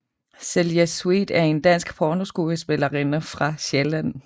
Zilja Sweet en en dansk pornoskuespillerinde fra Sjælland